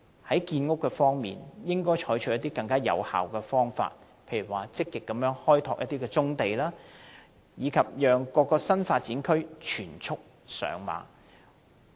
在建屋方面，政府應採取更有效的方法，例如積極開拓棕地，令各個新發展區全速上馬。